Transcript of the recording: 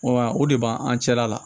Wa o de b'an an cɛla la